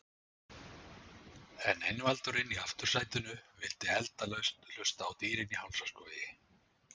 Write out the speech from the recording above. En einvaldurinn í aftursætinu vill endalaust hlusta á Dýrin í Hálsaskógi.